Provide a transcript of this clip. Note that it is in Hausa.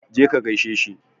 Je ka gaishe shi.